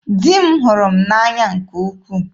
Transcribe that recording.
Di m hụrụ m n'anya nke ukwuu.